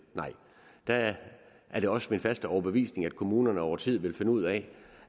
nej der er det også min faste overbevisning at kommunerne over tid vil finde ud af